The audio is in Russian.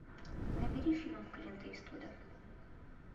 набери фильм клинта иствуда